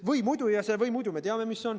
Või muidu me teame, mis on.